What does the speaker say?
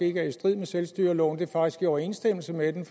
ikke er i strid med selvstyreloven det er faktisk i overensstemmelse med den